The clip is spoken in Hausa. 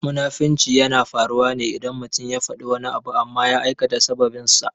Munafunci yana faruwa ne idan mutum ya faɗi wani abu amma ya aikata saɓaninsa.